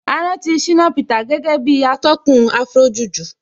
A rántí Shina Peter gẹ́gẹ́ bí atọ́kùn Afrojuju